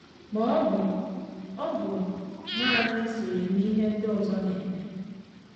Ma ọ bụ, ọ̀ bụ nanị isonye na ihe ndị ọzọ na-eme?